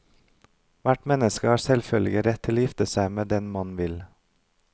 Hvert menneske har selvfølgelig rett til å gifte seg med den man vil.